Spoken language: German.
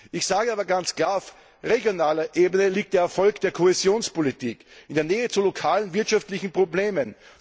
Ich sage aber ganz klar Auf regionaler Ebene liegt der Erfolg der Kohäsionspolitik in der Nähe zu lokalen wirtschaftlichen Problemen!